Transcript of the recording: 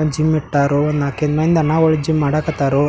ಒಂದ್ ಜಿಮ್ ಬಿಟ್ಟಾರೋ ನಾಲಕ್ಕು ಐದು ಮಂದಿ ಚೆನ್ನಾಗಿ ಜಿಮ್ ಮಾಡಾಕತ್ತಾರು